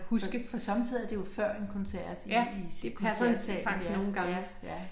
For for somme tider er det jo før en koncert i i koncertsalen ja ja ja